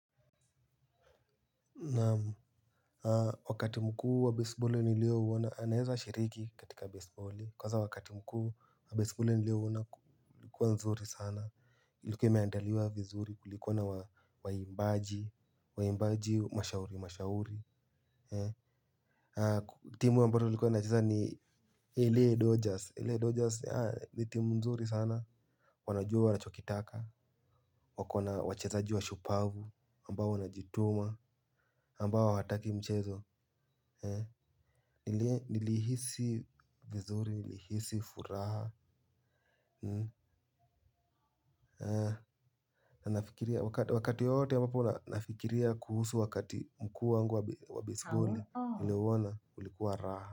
Na wakati mkuu wa baseballi nilio uona, anaeza shiriki katika baseballi. Kwaza wakati mkuu wa baseballi nilio uona kulikuwa nzuri sana. Ilikuwa imeandaliwa vizuri kulikuwa na waimbaji, wa imbaji mashauri mashauri. Timu wa mbatu likuwa na cheza ni LA Dodgers, LA Dodgers, ni timu nzuri sana. Wanajua wana chokitaka, wakona wachezaji washupavu, ambao wana jituma, ambao wataki mchezo. Nilihisi vizuri, nilihisi furaha. Na nafikiria wakati wowote ya mbapo nafikiria kuhusu wakati mkuu wangu wa bisboli. Niliouona ulikuwa raha.